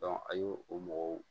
a y'o o mɔgɔw